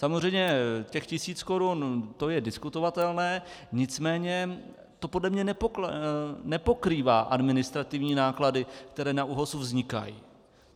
Samozřejmě těch tisíc korun, to je diskutovatelné, nicméně to podle mě nepokrývá administrativní náklady, které na ÚOHS vznikají.